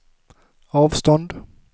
avstånd